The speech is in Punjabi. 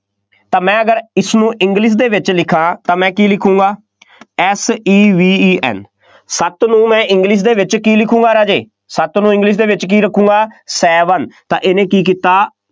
ਤਾਂ ਮੈਂ ਅਗਰ ਇਸਨੂੰ english ਦੇ ਵਿੱਚ ਲਿਖਾਂ, ਤਾਂ ਮੈ ਕੀ ਲਿਖੂਗਾਂ S E V E N ਸੱਤ ਨੂੰ ਮੈਂ english ਦੇ ਵਿੱਚ ਕੀ ਲਿਖੂਗਾਂ ਰਾਜੇ, ਸੱਤ ਨੂੰ english ਦੇ ਵਿੱਚ ਕੀ ਰੱਖੂਗਾਂ, seven ਤਾਂ ਇਹਨੇ ਕੀ ਕੀਤਾ,